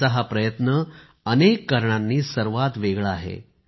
त्यांचा हा प्रयत्न अनेक कारणांनी सर्वात वेगळा आहे